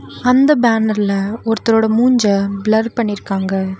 அந்த பேனர்ல ஒருத்தரோட மூஞ்ச பிளர் பண்ணிருக்காங்க.